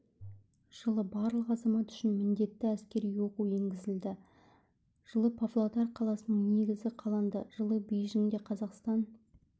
жылы барлық азамат үшін міндетті әскери оқу енгізілді жылы павлодар қаласының негізі қаланды жылы бейжіңде қазақстан